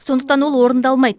сондықтан ол орындалмайды